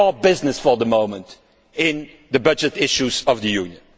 That is called business for the moment in the budget issues of the Union.